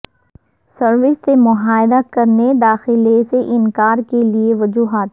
service سے معاہدہ کرنے داخلے سے انکار کے لئے وجوہات